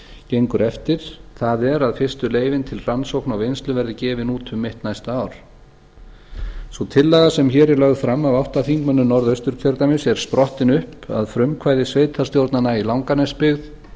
gengur eftir það er að fyrstu leyfin til rannsóknarvinnslu verði gefin út um mitt næsta ár sú tillaga sem hér er lögð fram af átta þingmönnum norðausturkjördæmis er sprottin upp af frumkvæði sveitarstjórnanna í langanesbyggð